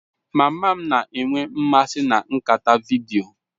Mama m na-enwe mmasị na nkata vidiyo.